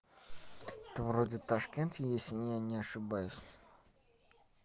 да вроде ташкент если я не ошибаюсь